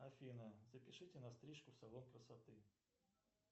афина запишите на стрижку в салон красоты